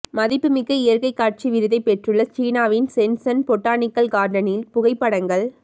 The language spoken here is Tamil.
மதிப்புமிக்க இயற்கை காட்சி விருதை பெற்றுள்ள சீனாவின் சென்சன் பொட்டானிக்கல் கார்டனின் புகைப்படங்கள்